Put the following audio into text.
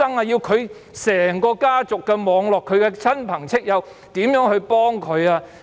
要整個家族的網絡、親朋戚友如何幫助他們？